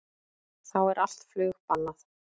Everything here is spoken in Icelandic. Þá er allt flug bannað